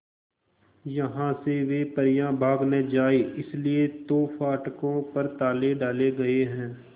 यहां से वे परियां भाग न जाएं इसलिए तो फाटकों पर ताले डाले गए हैं